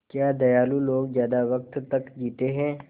क्या दयालु लोग ज़्यादा वक़्त तक जीते हैं